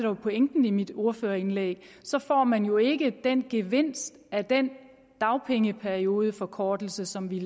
var pointen i mit ordførerindlæg får man jo ikke gevinsten af den dagpengeperiodeforkortelse som vi